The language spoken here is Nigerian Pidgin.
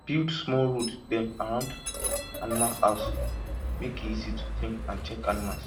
build small road dem around animal house make e easy to clean and check animals